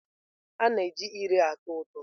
A na-eji ire ụtọ ụtọ.